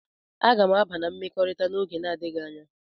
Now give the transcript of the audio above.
Aga m aba na mmekọrịta n'oge na-adịghị anya.